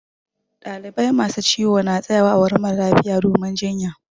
Dalibai masu ciwo na tsaƴawa ã wurin mara lafiya domin jiƴƴa.